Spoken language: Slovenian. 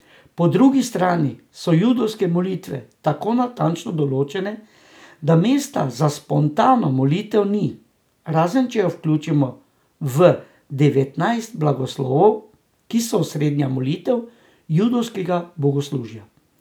Po drugi strani so judovske molitve tako natančno določene, da mesta za spontano molitev ni, razen če jo vključimo v devetnajst blagoslovov, ki so osrednja molitev judovskega bogoslužja.